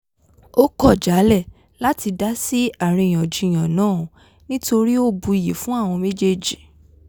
ó kọ̀ jálẹ̀ láti dasí àríyànjiyàn náà nítorí ó buyì fún àwọn méjèèjì